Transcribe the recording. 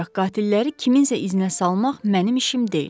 Ancaq qatilləri kiminsə izinə salmaq mənim işim deyil.